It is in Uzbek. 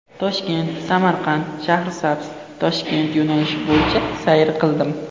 Toshkent–Samarqand–Shahrisabz–Toshkent yo‘nalishi bo‘ylab sayr qildim.